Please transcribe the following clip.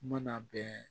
Mana bɛn